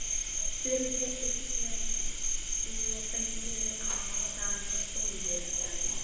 spurði Sveinn og benti á þann silfurgráa.